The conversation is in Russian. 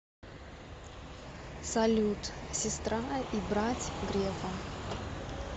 салют сестра и брать грефа